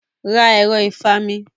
Ra ẹ̀ro ìfami.